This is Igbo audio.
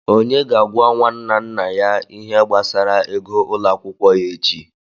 Onye ga-agwa nwanna nna ya ihe gbasara ego ụlọ akwụkwọ ya echi?